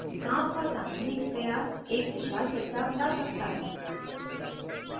गाँव का सामूहिक प्रयास एक विशाल बदलाव ला सकता है